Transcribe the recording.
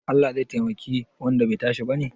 Allah zai taimaki wanda bai tashi bane?